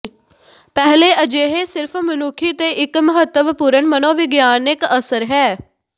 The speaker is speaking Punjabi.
ਪਹਿਲੇ ਅਜਿਹੇ ਸਿਰਫ਼ ਮਨੁੱਖੀ ਤੇ ਇੱਕ ਮਹੱਤਵਪੂਰਨ ਮਨੋਵਿਗਿਆਨਕ ਅਸਰ ਹੈ